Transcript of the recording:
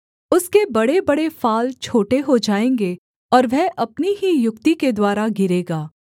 उसके बड़ेबड़े फाल छोटे हो जाएँगे और वह अपनी ही युक्ति के द्वारा गिरेगा